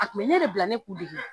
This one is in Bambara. A kun bɛ ne de bila ne k'u dege